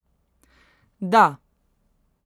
Da.